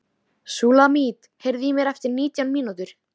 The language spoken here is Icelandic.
Súlamít, heyrðu í mér eftir nítján mínútur.